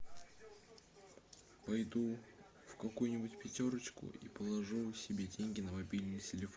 пойду в какую нибудь пятерочку и положу себе деньги на мобильный телефон